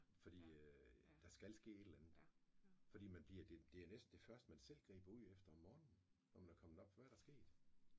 Fordi der skal ske et eller andet fordi man bliver det det er næsten det første man selv griber ud efter om morgenen når man kommer op hvad er der sket